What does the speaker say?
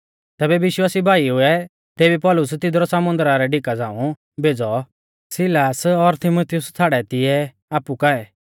तैबै विश्वासी भाईउऐ तेबी पौलुस तिदरु समुन्दरा रै डिका झ़ांऊ भेज़ौ सिलास और तीमुथियुस छ़ाड़ै तिऐ आपु काऐ